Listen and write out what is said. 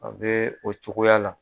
An bɛ o cogoya la.